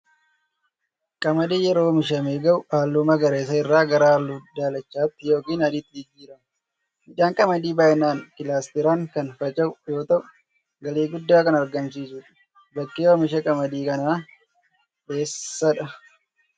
Qamadiin yeroo oomishamee gahu halluu magariisa irraa gara halluu daalachatti yookiin adiitti jirrirrama. Midhaan qamadii baay'inaan kilaasteraan kan faca'u yoo ta'uu galii guddaa kan argamsiisudha. Bakki oomisha qamadii kanaa eessadha?